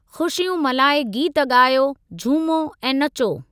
ख़ुशियूं मल्हाए गीत ॻायो, झूमो ऐं नचो।